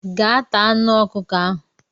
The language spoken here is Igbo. Gaa taa anụ ọkụkọ ahụ!